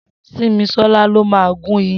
Simisola ló mà gùn iyán